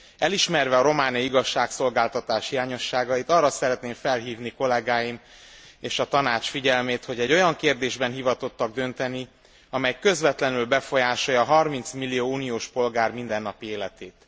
Elismerve a romániai igazságszolgáltatás hiányosságait, arra szeretném felhívni kollégáim és a Tanács figyelmét, hogy egy olyan kérdésben hivatottak dönteni, amely közvetlenül befolyásolja 30 millió uniós polgár mindennapi életét.